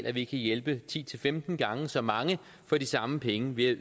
at vi kan hjælpe ti til femten gange så mange for de samme penge ved